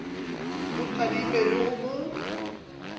mo tadime le ho mo